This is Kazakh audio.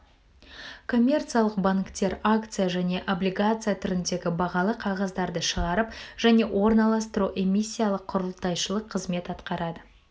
коммерциялық банктер акция және облигация түріндегі бағалы қағаздарды шығарып және орналастыру эмиссиялық құрылтайшылық қызмет атқарады